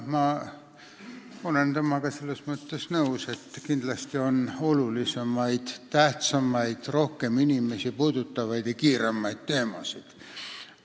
Ma olen temaga selles mõttes nõus, et kindlasti on olulisemaid, tähtsamaid, rohkem inimesi puudutavaid ja kiiremaid teemasid.